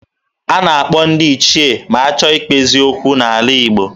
A na-akpọ ndị ichie ma a chọọ ikpezi okwu n'ala Igbo